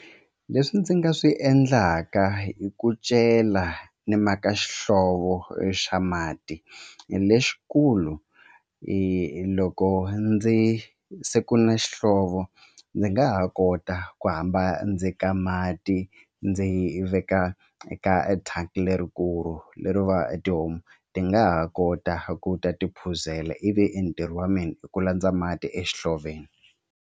Leswi ndzi nga swi endlaka i ku cela ni maka xihlovo xa mati lexikulu loko ndzi se ku na xihlovo ndzi nga ha kota ku hamba ndzi ka mati ndzi veka eka thangi lerikulu leri va tihomu ti nga ha kota ku ta tiphuzela ivi i ntirho wa mina i ku landza mati exihloveni.